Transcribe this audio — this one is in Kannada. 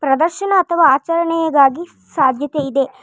ಪ್ರದರ್ಶನ ಅಥವಾ ಆಚರಣೆ ಗಾಗಿ ಸಾಧ್ಯತೆ ಇದೆ.